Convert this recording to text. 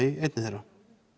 í einni þeirra